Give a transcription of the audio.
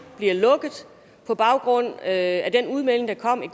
bliver lukket på baggrund af den udmelding der kom i